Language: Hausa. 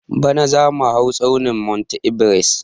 Bana zamu hau tsaunin monti ebares